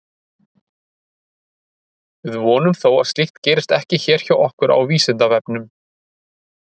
Við vonum þó að slíkt gerist ekki hér hjá okkur á Vísindavefnum!